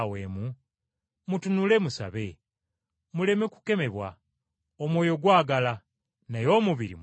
Mutunule musabe, muleme kukemebwa. Omwoyo gwagala, naye omubiri munafu.”